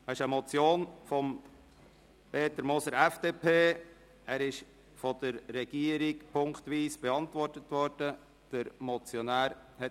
Es handelt sich um eine Motion von Peter Moser, FDP, die von der Regierung punktweise beantwortet worden ist.